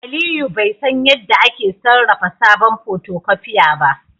Aliyu bai san yadda ake sarrafa sabon photocopier ba